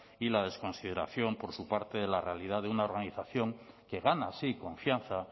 y la desconsideración por su parte de la realidad de una organización que gana así confianza